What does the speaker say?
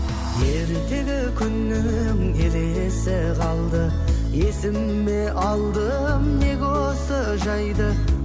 ертегі күннің елесі қалды есіме алдым неге осы жайды